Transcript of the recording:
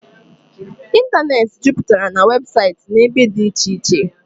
ịntanetị juputara na weebụsaịtị na ibe dị iche iche